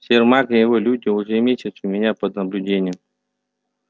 сермак и его люди уже месяц у меня под наблюдением